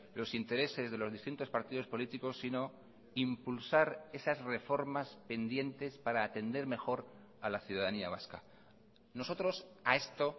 los intereses de los distintos partidos políticos sino impulsar esas reformas pendientes para atender mejor a la ciudadanía vasca nosotros a esto